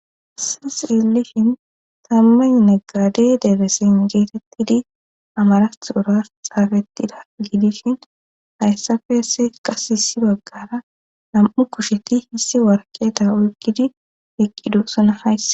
Hassa xeellishin tammanne gaade deebesin geetettidi amara xoras xaafettida giidishin hayssafe esse qas hissi baggara lam7u kusheti hissi warketa oykkidi eqqidusana hays